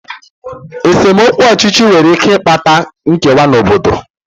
Esemokwu ọchịchị nwere ike ịkpata nkewa n'obodo.